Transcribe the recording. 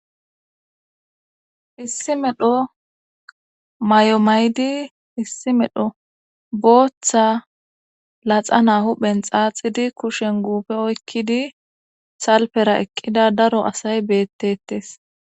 Issi medho mayo mayidi issi medho booththa laxana huphen xaaxidi kushen guufe oykkidi salpera eqqida daro asay beettettes